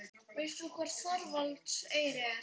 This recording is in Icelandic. Mamma átti ekki orð.